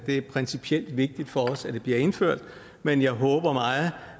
det er principielt vigtigt for os at det bliver indført men jeg håber meget